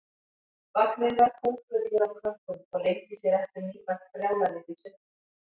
Vagninn var kúffullur af krökkum og leyndi sér ekki nýfætt brjálæðið í svipnum.